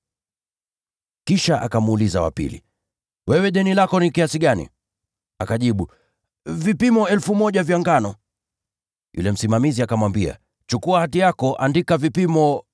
“Kisha akamuuliza wa pili, ‘Wewe deni lako ni kiasi gani?’ “Akajibu, ‘Vipimo 1,000 vya ngano.’ “Yule msimamizi akamwambia, ‘Chukua hati yako, andika vipimo 800!’